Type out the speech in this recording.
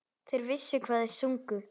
Þeir vissu hvað þeir sungu.